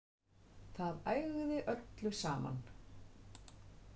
Það ægði öllu saman.